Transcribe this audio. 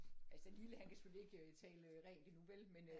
Altså lille han kan selvfølgelig ikke tale rent endnu vel men øh